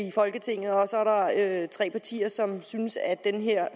i folketinget og at der er tre partier som synes at den her